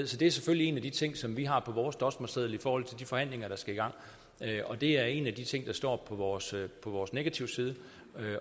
så det er selvfølgelig en af de ting som vi har på vores dosmerseddel i forhold til de forhandlinger der skal i gang det er en af de ting der står på vores vores negativside